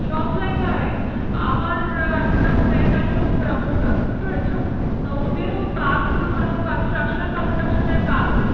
সব জায়গায় আমার একটা friend আছে ও promoter বুঝতে পেরেছো? তা ওদেরও কাজগুলো মানে ও construction ফনস্ট্রাকশনের কাজ।